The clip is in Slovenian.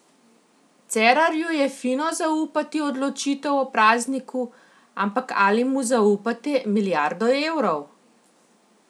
Cerarju je fino zaupati odločitev o prazniku, ampak ali mu zaupate milijardo evrov?